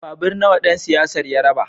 Babur nawa dan siyasar ya raba?